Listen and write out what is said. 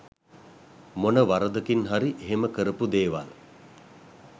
මොන වරදකින් හරි එහෙම කරපු දේවල්